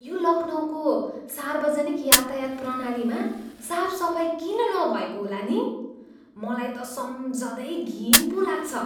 यो लखनऊको सार्वजनिक यातायात प्रणालीमा साफसफाइ किन नभएको होला नि? मलाई त सम्झँदै घिन पो लाग्छ।